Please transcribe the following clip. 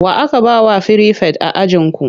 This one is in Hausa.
Wa aka ba wa firifet a ajinku?